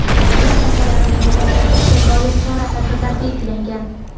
madaniyat sohalarini rivojlantirishga doir chora-tadbirlar belgilangan.